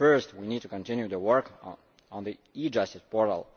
First, we need to continue the work on the e Justice Portal.